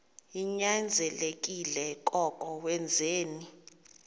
ninyanzelekile koko wenzeni